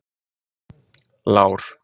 Lár